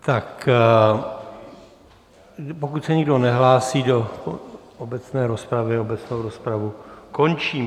Tak pokud se nikdo nehlásí do obecné rozpravy, obecnou rozpravu končím.